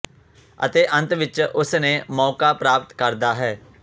ਅਤੇ ਅੰਤ ਵਿਚ ਉਸ ਨੇ ਮੌਕਾ ਪ੍ਰਾਪਤ ਕਰਦਾ ਹੈ